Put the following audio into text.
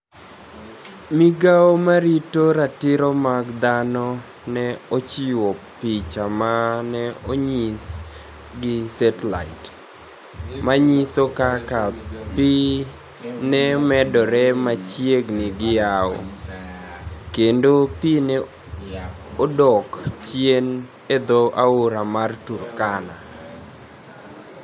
Migao marito ratiro mag dhano ni e ochiwo piche ma ni e oniyis gi Saatellite, maniyiso kaka pi ni e medore machiegnii gi yawo, kenido pi ni e dok chieni e dho aora mar Turkania.